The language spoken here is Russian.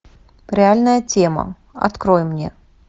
реальная тема открой мне